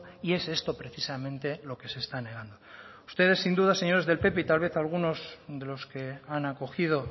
y es esto precisamente lo que se está negando ustedes sin duda señores del pp y tal vez algunos de los que han acogido